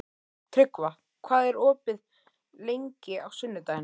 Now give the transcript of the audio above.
Tryggva, hvað er opið lengi á sunnudaginn?